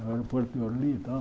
O aeroporto de Orly e tal.